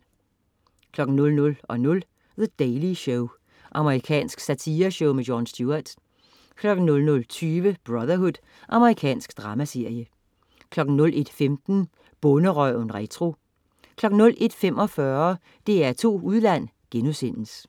00.00 The Daily Show. Amerikansk satireshow. Jon Stewart 00.20 Brotherhood. Amerikansk dramaserie 01.15 Bonderøven retro 01.45 DR2 Udland*